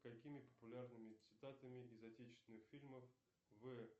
какими популярными цитатами из отечественных фильмов вы